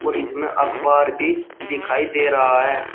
इसमें अखबार भी दिखाई दे रहा है।